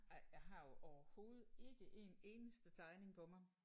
Ej jeg har jo overhovedet ikke en eneste tegning på mig